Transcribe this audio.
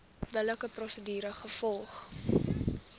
billike prosedure gevolg